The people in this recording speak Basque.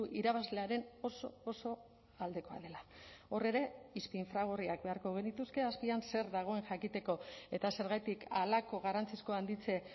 irabazlearen oso oso aldekoa dela hor ere izpi infragorriak beharko genituzke azpian zer dagoen jakiteko eta zergatik halako garrantzizko handitze